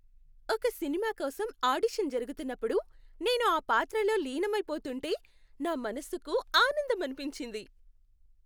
ఒక సినిమా కోసం ఆడిషన్ జరుగుతున్నప్పుడు నేను ఆ పాత్రలో లీనమైపోతుంటే నా మనసుకు ఆనందం అనిపించింది.